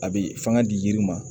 A bɛ fanga di yiri ma